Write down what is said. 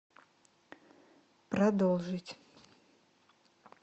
продолжить